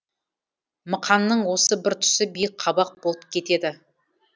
мықанның осы бір тұсы биік қабақ болып кетеді